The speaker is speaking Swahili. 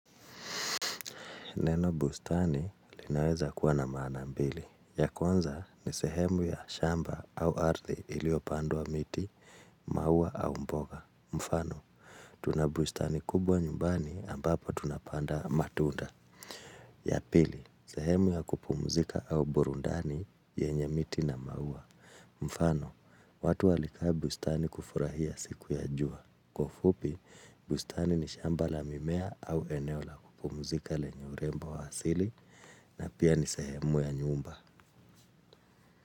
Neno bustani linaweza kuwa na maana mbili. Ya kwanza ni sehemu ya shamba au ardhi iliyopandwa miti, maua au mboga. Mfano, tuna bustani kubwa nyumbani ambapo tunapanda matunda. Ya pili, sehemu ya kupumzika au burundani yenye miti na maua. Mfano, watu walikaa bustani kufurahia siku ya jua. Kwaufupi, bustani ni shamba la mimea au eneo la kupumzika lenye urembo wa asili na pia ni sehemu ya nyumba.